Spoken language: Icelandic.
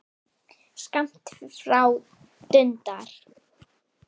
Skammt frá dundar